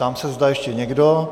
Ptám se, zda ještě někdo.